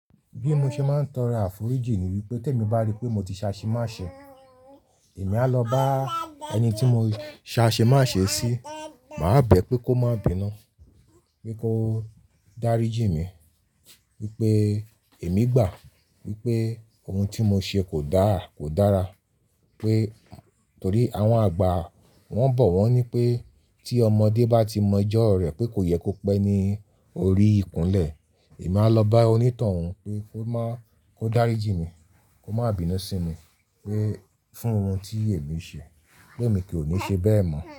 Bí mo ṣe máa ń tọro àforíjì nì wípé tẹ́ mi bá rí pé mo ti se asemase èmi a lọ bá ẹni tí mo se asemase si, màá bẹ̀ pé kó má bínu, pé kó dáríjì mi, wípé èmi gbàá, wípé ohun tí mo ṣe kò dáà kò dára. Pé torí àwọn àgbà wọn bọ̀ wọ́n ní pé tí ọmọdé bá ti mọ ẹjọ́ rẹ̀ pé kò yẹ kó pẹ́ ní orí ìkúnlẹ̀, èmi a lọ bá onítọ̀hún pé kó má, pe kó dáríjì mí, kó má bínú sí mi, pé fún ohun tí èmi ṣe, pé èmi ko ni ṣe bẹ́ẹ̀ mọ̀